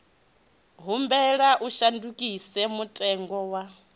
humbela u shandukisa mutengo wa